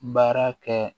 Baara kɛ